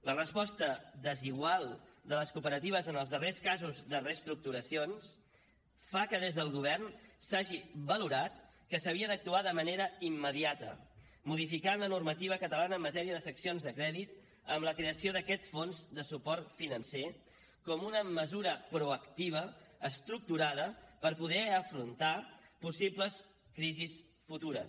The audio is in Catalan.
la resposta desigual de les cooperatives en els darrers casos de reestructuracions fa que des del govern s’hagi valorat que s’havia d’actuar de manera immediata modificant la normativa catalana en matèria de seccions de crèdit amb la creació d’aquest fons de suport financer com una mesura proactiva estructurada per poder afrontar possibles crisis futures